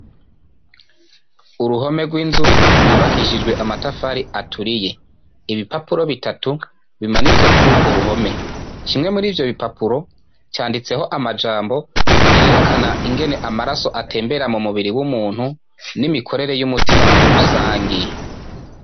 Uruhome rw'inzu yubakishijwe amatafari aturiye. Ibipapuro bitatu bimanitswe kuri urwo ruhome. Kimwe muri ivyo bipapuro, canditseko amajambo yerekana ingene amaraso atembera mu mubiri w'umuntu, n'imikorere y'umutima muri rusangi.